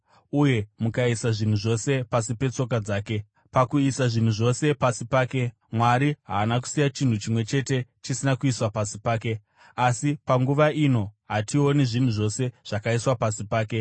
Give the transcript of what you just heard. uye mukaisa zvinhu zvose pasi petsoka dzake.” Pakuisa zvinhu zvose pasi pake, Mwari haana kusiya chinhu chimwe chete chisina kuiswa pasi pake. Asi panguva ino hationi zvinhu zvose zvakaiswa pasi pake.